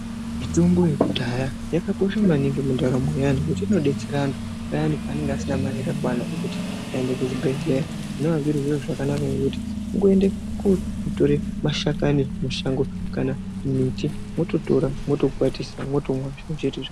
Mitombo yekudhaya yakakosha maningi mundaramo yevantu ngekuti inodetsera antu payani pavanenge vasina mari yakakwana ngekuti anende kuzvibhedhlera zvinova zviri zviro zvakanaka ngekuti uende kundotora mashakani mumashango kana mumiti wototora wotokwatisa wotomwa.